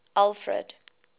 alfred